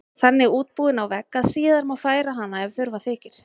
Þannig útbúin á vegg að síðar má færa hana ef þurfa þykir.